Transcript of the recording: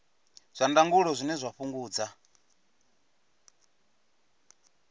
zwa ndangulo zwine zwa fhungudza